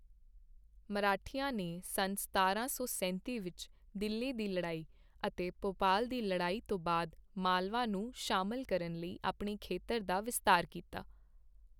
ਮਰਾਠਿਆਂ ਨੇ ਸੰਨ ਸਤਾਰਾਂ ਸੌ ਸੈਂਤੀ ਵਿੱਚ ਦਿੱਲੀ ਦੀ ਲੜਾਈ ਅਤੇ ਭੋਪਾਲ ਦੀ ਲੜਾਈ ਤੋਂ ਬਾਅਦ ਮਾਲਵਾ ਨੂੰ ਸ਼ਾਮਲ ਕਰਨ ਲਈ ਆਪਣੇ ਖੇਤਰ ਦਾ ਵਿਸਤਾਰ ਕੀਤਾ।